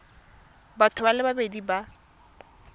batho ba le babedi ba